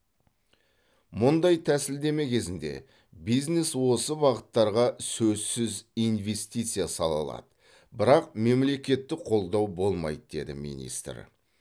мұндай тәсілдеме кезінде бизнес осы бағыттарға сөзсіз инвестиция сала алады бірақ мемлекеттік қолдау болмайды деді министр